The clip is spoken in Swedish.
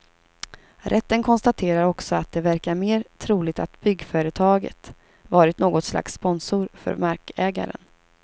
Rätten konstaterar också att det verkar mer troligt att byggföretaget varit något slags sponsor för markägaren.